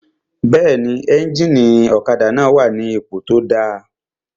Bẹ́ẹ̀ni, éjìnì ọ̀kadà náà wà ní ipò tó dáa